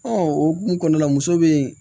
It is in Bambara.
o hokumu kɔnɔna la muso be yen